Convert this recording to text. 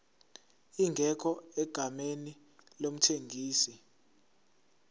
ingekho egameni lomthengisi